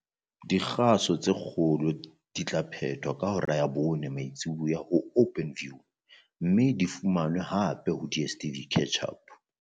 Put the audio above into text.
Dikgaso tse kgolo di tla phetwa ka hora ya bone mantsibuya ho Openview mme di fumanwe hape ho DSTV Catch-Up.